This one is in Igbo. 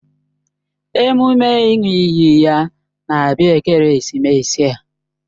Emume ịṅụ iyi ya na-abịa ekeresimesi a